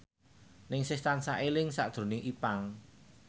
Ningsih tansah eling sakjroning Ipank